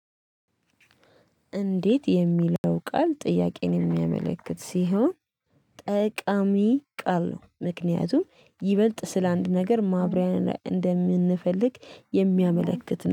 እንዴት የሚለው ቃል ጥያቄን የሚያመለክት ሲሆን ጠቃሚ ቃል ነው። ምክንያቱም ይበልጥ ስላንድ ነገር ማብሪያ ላይ እንደምንፈልግ የሚያመለክት